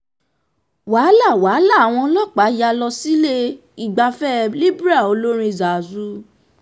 wahala wahala, awọn ọlọpa ya lọ sile igbafẹ libre olorin zazu